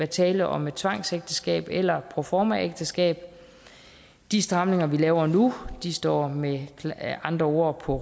tale om et tvangsægteskab eller proformaægteskab de stramninger vi laver nu står med andre ord på